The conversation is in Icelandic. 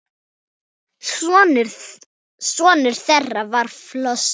Sonur þeirra var Flosi.